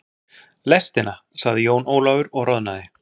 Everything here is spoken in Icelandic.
Lestina, sagði Jón Ólafur og roðnaði.